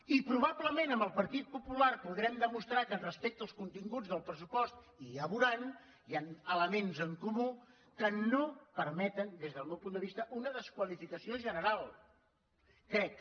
i probablement amb el partit popular podrem demostrar que respecte als continguts del pressupost i ja ho veuran hi han elements en comú que no permeten des del meu punt de vista una desqualificació general crec